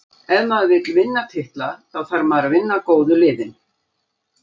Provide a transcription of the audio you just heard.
Ef maður vill vinna titla, þá þarf maður að vinna góðu liðin.